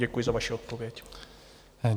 Děkuji za vaši odpověď.